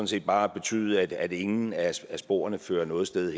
set bare at betyde at ingen af sporene fører noget sted